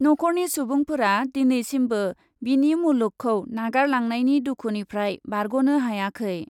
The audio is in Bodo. नख'रनि सुबुंफोरा दिनैसिमबो बिनि मुलुगखौ नागारलांनायनि दुखुनिफ्राय बारग'नो हायाखै ।